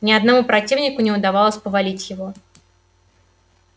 ни одному противнику не удавалось повалить его